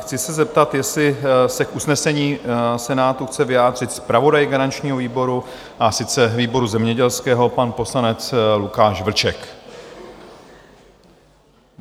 Chci se zeptat, jestli se k usnesení Senátu chce vyjádřit zpravodaj garančního výboru, a to výboru zemědělského, pan poslanec Lukáš Vlček?